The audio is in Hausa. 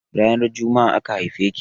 Ranar jumma'a aka haife ki?